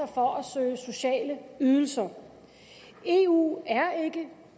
for at søge sociale ydelser eu er ikke